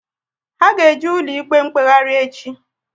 Ha ga eje ụlọ ikpe mkpeghari echi